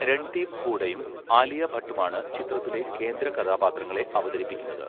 രൺദീപ് ഹൂഡയും ആലിയ ഭട്ടുമാണ് ചിത്രത്തിലെ കേന്ദ്ര കഥാപാത്രങ്ങളെ അവതരിപ്പിക്കുന്നത്.